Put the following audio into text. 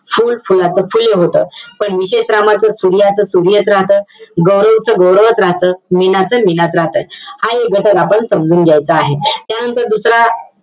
फुल, फुलाचं फुले होतं. पण विशेष नामाचं सूर्याचं, सूर्यच राहतं. गौरवच, गौरवच राहतं. मीनाचं, मीनाचं राहतं. हा एक घटक आपण समजून घ्यायचा आहे. त्यानंतर दुसरा,